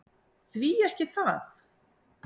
Því ekki það!